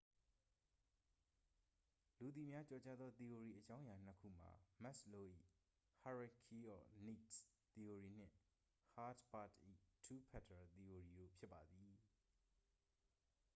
လူသိများကျော်ကြားသော သီအိုရီအကြောင်းအရာနှစ်ခုမှာ မက်စ်လိုး ၏ hierarchy of needs သီအိုရီနှင့် ဟားတ်ဘာတ့် ၏ two factor သီအိုရီတို့ဖြစ်ပါသည်